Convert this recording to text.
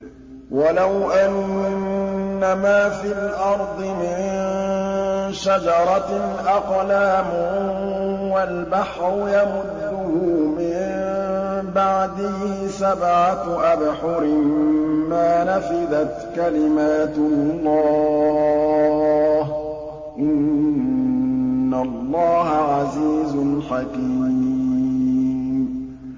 وَلَوْ أَنَّمَا فِي الْأَرْضِ مِن شَجَرَةٍ أَقْلَامٌ وَالْبَحْرُ يَمُدُّهُ مِن بَعْدِهِ سَبْعَةُ أَبْحُرٍ مَّا نَفِدَتْ كَلِمَاتُ اللَّهِ ۗ إِنَّ اللَّهَ عَزِيزٌ حَكِيمٌ